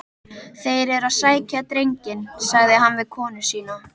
Þeir eru að sækja drenginn, sagði hann við konu sína.